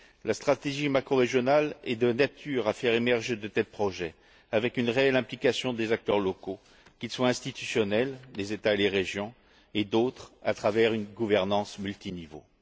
La stratégie macrorégionale est de nature à faire émerger de tels projets, avec une réelle implication des acteurs locaux, qu'ils soient institutionnels les États et les régions ou autres, à travers une gouvernance à plusieurs niveaux.